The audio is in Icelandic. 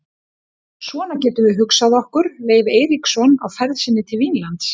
Svona getum við hugsað okkur Leif Eiríksson á ferð sinni til Vínlands.